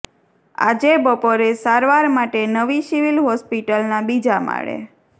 આજે બપોરે સારવાર માટે નવી સિવિલ હોસ્પિટલના બીજા માળે